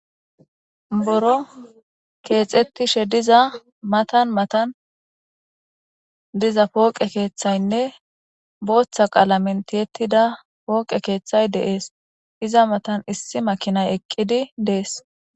Buro keexettishe diza matan matan diza pooqe keeththaynne booththa qaala men tiyettida pooqe keeththay deees iza matan issi makinay eqqidi dees.